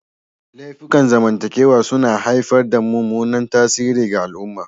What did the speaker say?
Laifukan zamantakewa suna haifar da mummunan tasiri ga al'umma.